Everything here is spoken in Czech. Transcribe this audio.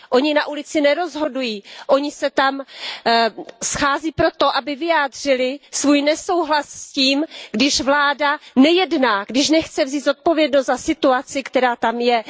Oni na ulici nerozhodují, oni se tam schází proto, aby vyjádřili svůj nesouhlas s tím, když vláda nejedná, když nechce vzít zodpovědnost za situaci, která tam je.